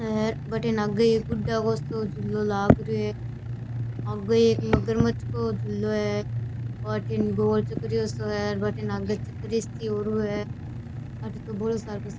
हे बठीने आगे एक गुड्डा को सो झूलो लाग रहियो है आगे एक मगरमच्छ को झूलो है ओ अठीने गोल चकरियों सो है बठीने आगे चकरी सी ओरु है अठे तो बोला सार को --